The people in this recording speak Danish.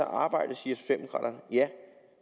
arbejde siger socialdemokraterne ja